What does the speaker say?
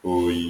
m oyi.